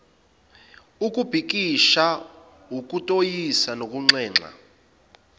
ukubhikisha ukutoyiza nokunxenxa